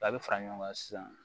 A bɛ fara ɲɔgɔn kan sisan